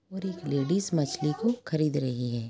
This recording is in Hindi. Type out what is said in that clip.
और एक लेडीज मछली को खरीद रही है।